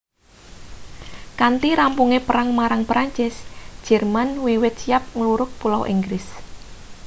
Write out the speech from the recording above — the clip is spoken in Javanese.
kanthi rampunge perang marang perancis jerman wiwit siap nglurug pulau inggris